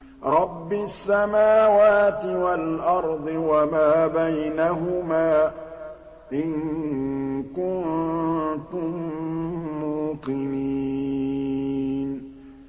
رَبِّ السَّمَاوَاتِ وَالْأَرْضِ وَمَا بَيْنَهُمَا ۖ إِن كُنتُم مُّوقِنِينَ